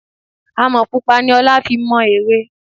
Àmọ́ pupa ni ọlá fi mọ ère.